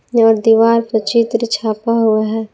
दीवार पर चित्र छापा हुआ है।